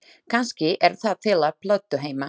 Kannski er það til á plötu heima.